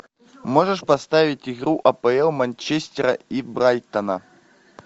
можешь поставить игру апл манчестера и брайтона